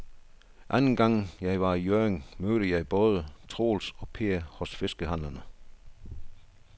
Anden gang jeg var i Hjørring, mødte jeg både Troels og Per hos fiskehandlerne.